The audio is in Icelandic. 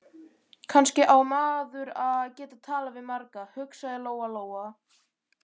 Kannski á maður að geta talað við marga, hugsaði Lóa Lóa.